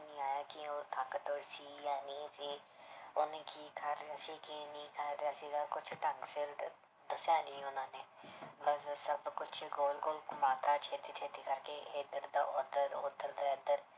ਨੀ ਆਇਆ ਕਿ ਉਹ ਤਾਕਤਵਰ ਸੀ ਜਾਂ ਨਹੀਂ ਸੀ ਉਹਨੇ ਕੀ ਰਿਹਾ ਸੀ ਕੀ ਨਹੀਂ ਰਿਹਾ ਸੀਗਾ ਕੁਛ ਢੰਗ ਸਿਰ ਦ~ ਦੱਸਿਆ ਨੀ ਉਹਨਾਂ ਨੇ ਸਭ ਕੁਛ ਗੋਲ ਗੋਲ ਘੁੰਮਾ ਦਿੱਤਾ ਛੇਤੀ ਛੇਤੀ ਕਰਕੇ ਇੱਧਰ ਤੋਂ ਉੱਧਰ ਉੱਧਰ ਤੋਂ ਇੱਧਰ।